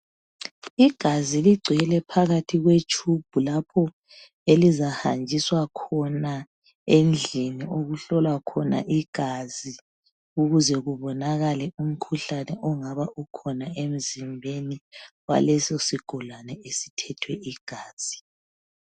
Igazi ligcwele phakathi kwetshubhu lapho elizahanjiswa khona endlini lapho okuhlolwa khona igazi ukuze kubnonakale umkhuhlane ongabe ukhona emzimbeni waleso sigulane esithethwe igazi.